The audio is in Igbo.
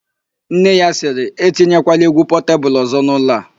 Nne ya sịrị, "etinyekwala égwú Pọtebulu ọ̀zọ́ n'ụlọ a "!